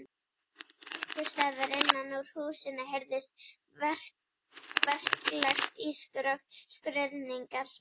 Einhvers staðar innan úr húsinu heyrðist verklegt ískur og skruðningar.